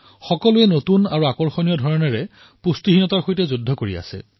জনতাই নতুন আৰু আগ্ৰহেৰে কুপোষণৰ বিৰুদ্ধে যুঁজিব ধৰিছে